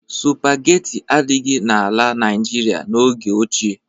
Sụpageti adịghị n'ala Naịjirịa n'oge ochie.